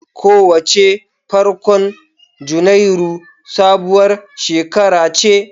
Kowace farkon Janairu sabuwar shekara ce.